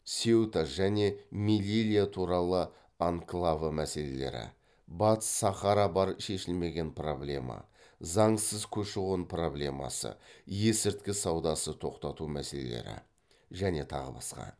сеута және мелилья туралы анклавы мәселелері батыс сахара бар шешілмеген проблема заңсыз көші қон проблемасы есірткі саудасы тоқтату мәселелері және тағы басқа